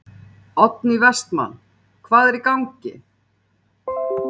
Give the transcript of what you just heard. Oddný Vestmann: Hvað er í gangi?